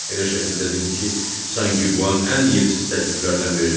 Elə şəkildə dedi ki, sanki bu an ən yersiz təkliflərdən biridir.